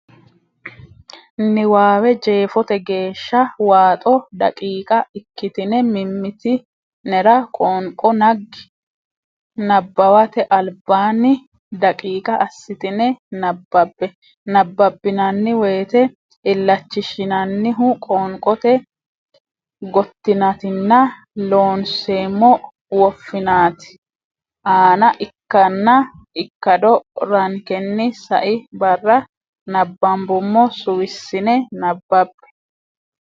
niwaawe jeefote geehsha waaxo daqiiqa ikkitine mimmiti nera qoonqo naggi Nabbawate Albaanni daqiiqa assitine nabbabbe Nabbabbinanni woyte illachishshinannihu qoonqote gottinaatinna Loonseemmo woffinaati aana ikkanna ikkado rankenni sai barra nabbambummo suwissine nabbabbe.